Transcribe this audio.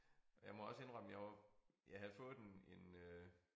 Og jeg må også indrømme jeg var jeg havde fået en en øh